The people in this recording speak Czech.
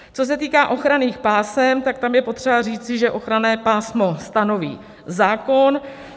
Co se týká ochranných pásem, tak tam je potřeba říci, že ochranné pásmo stanoví zákon.